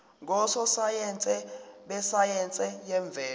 ngososayense besayense yemvelo